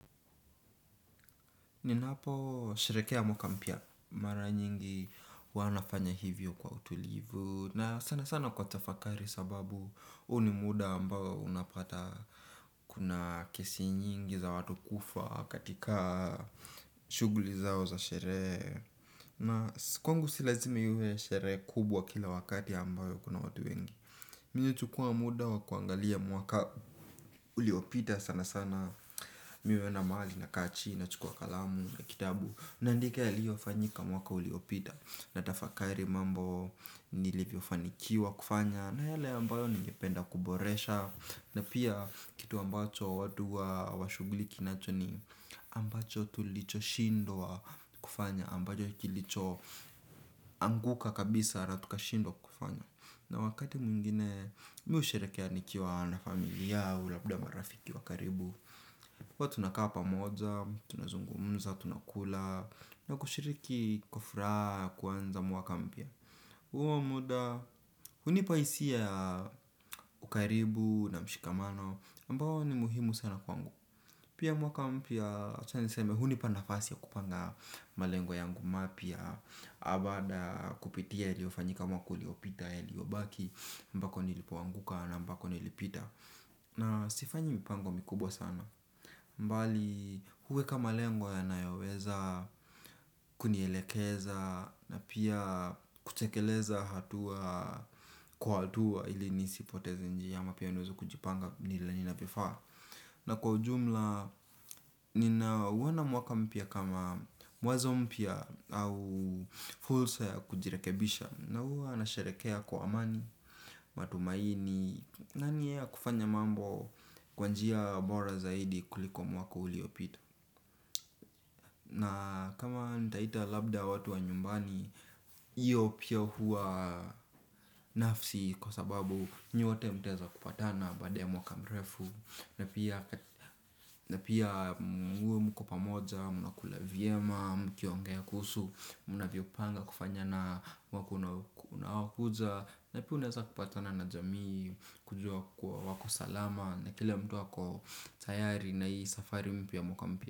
Ninaposherehekea mwaka mpya mara nyingi huwa nafanya hivyo kwa utulivu. Na sana sana kwa tafakari sababu huu ni muda ambao unapata kuna kesi nyingi za watu kufa katika shughuli zao za sherehe. Na kwangu si lazime iwe sherehe kubwa kila wakati ambayo kuna watu wengi. Mimi huchukua muda wa kuangalia mwaka uliopita sana sana mimi huenda mahali nakaa chini nachukua kalamu na kitabu naandika yaliyofanyika mwaka uliopita natafakari mambo nilivyo fanikiwa kufanya. Na yale ambayo ningependa kuboresha. Na pia kitu ambacho watu wa shughuli kinacho ni ambacho tulichoshindwa kufanya ambacho kilicho anguka kabisa na tukashidwa kufanya. Na wakati mwingine, mimi husherehekea nikiwa na familia au labda marafiki wa karibu huwa tunakaa pamoja, tunazungumuza, tunaku yala. Na kushiriki kwa furaha, ya kuanza mwaka mpya huo muda, hunipa hisia ukaribu na mshikamano ambao ni muhimu sana kwangu pia mwaka mpya, acha niseme, hunipa nafasi ya kupanga malengo yangu mapya, baada ya kupitia, yaliyofanyika mwaka, uliopita, yaliyobaki ambako nilipoanguka na ambako nilipita. Na sifanyi mipango mikubwa sana bali hueka malengo yanayoweza kunielekeza. Na pia kutekeleza hatua kwa hatua hili nisipoteze njia. Ama pia niweze kujipanga nina ninavyofaa. Na kwa ujumla ninauona mwaka mpya kama mwanzo mpya. Au fursa ya kujirekebisha na huwa nasherehekea kwa amani matumanini na nia ya kufanya mambo kwa njia bora zaidi kuliko mwaka uliopita. Na kama nitaita labda watu wa nyumbani, hiyo pia hua nafsi kwa sababu nyote mtaeza kupatana baada ya mwaka mrefu na pia muwe mko pamoja, mnakula vyema, mkiongea kuhusu, mnavyopanga kufanya na mwaka unaokuja. Na pia unaeza kupatana na jamii, kujua kwa wako salama. Na kila mtu ako tayari na hii safari mpya ya mwaka mpia.